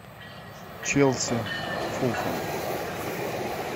челси фулхэм